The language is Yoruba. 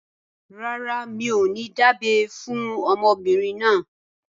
Rárá, mi ò ní dábẹ́ fún ọmọbìnrin náà